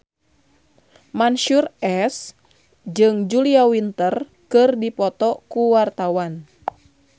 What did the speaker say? Mansyur S jeung Julia Winter keur dipoto ku wartawan